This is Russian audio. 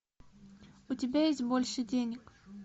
у тебя есть больше денег